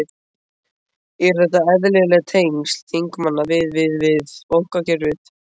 Eru þetta eðlileg tengsl þingmanna við, við, við bankakerfið?